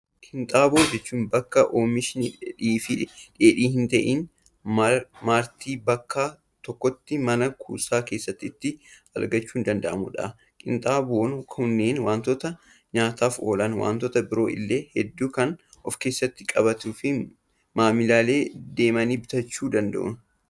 Kinxaaboo jechuun, bakka oomishni dheedhii fi dheedhii hin ta'iin marti bakka tokkotti mana kuusaa keessatti itti argachuun danda'amudha. Qinxaaboon kunneen waantota nyaataaf oolan, waantota biroo illee hedduu kan of keessatti qabate fi maamilli deemee bitachuu danda'udha.